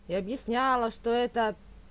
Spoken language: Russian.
и объясняла что это